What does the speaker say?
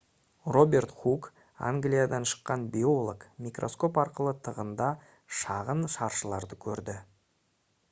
роберт хук англиядан шыққан биолог микроскоп арқылы тығында шағын шаршыларды көрді